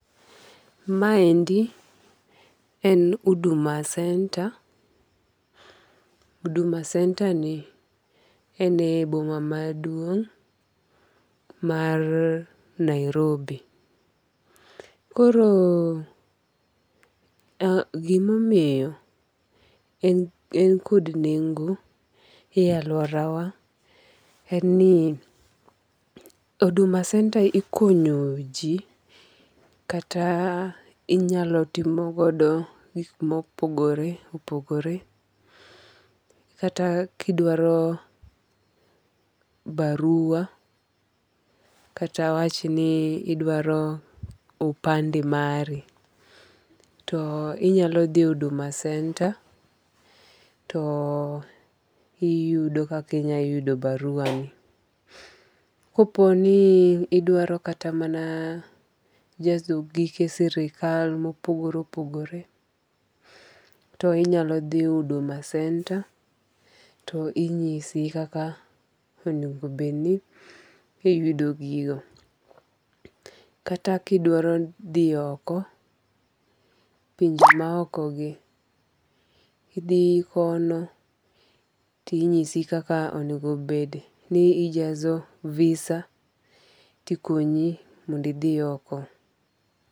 Ma endi en Huduma Center. Huduma Center ni en e boma maduong' mar Nairobi. Koro gimomiyo en kod nengo e aluora wa en ni Huduma Center ikonyo ji kata inyalo timo godo gik mopogore opogore kata kidwaro barua kata awach ni idwaro opande mari, to inyalo dhi Huduma Center to iyudo kaki inya yudo barua ni. Kopo ni idwaro kata mana jazo gige sirkal mopogore opogore to inyalo dhi Huduma Center to inyisi kaka onengo bed ni iyudo gigo. Kata kidwaro dhi oko, pinje ma oko gi, idhi kono tinyisi kaka onego bed ni ijazo visa tikonyi mondo idhi oko.